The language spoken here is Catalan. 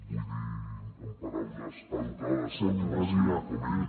vull dir amb paraules educades per no ser com ell